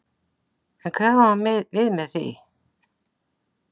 En hvað á hann við með því?